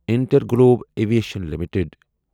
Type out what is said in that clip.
Interglobe Aviation limited